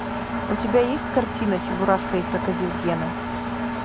у тебя есть картина чебурашка и крокодил гена